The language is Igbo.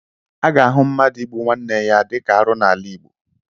A ga-ahụ mmadụ igbu nwanna ya dịka arụ n'ala Igbo.